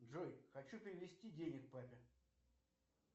джой хочу перевести денег папе